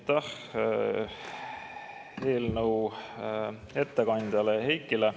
Aitäh eelnõu ettekandjale Heikile!